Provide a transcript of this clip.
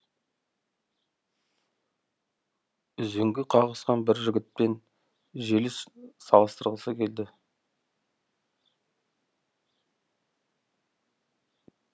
үзеңгі қағысқан бір жігітпен желіс салыстырғысы келді